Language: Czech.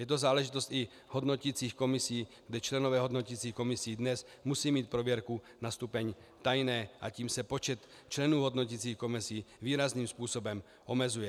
Je to záležitost i hodnoticích komisí, kdy členové hodnoticích komisí dnes musí mít prověrku na stupeň tajné a tím se počet členů hodnoticích komisí výrazným způsobem omezuje.